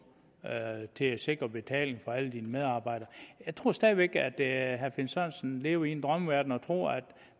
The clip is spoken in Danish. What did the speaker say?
til at sikre betaling for alle medarbejderne jeg tror stadig væk at herre finn sørensen lever i en drømmeverden og tror at